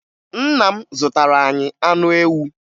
Nna m zụtara anyị anụ ewu